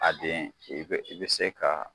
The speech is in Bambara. A den i be i be se ka